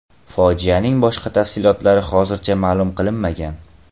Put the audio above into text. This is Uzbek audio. Fojianing boshqa tafsilotlari hozircha ma’lum qilinmagan.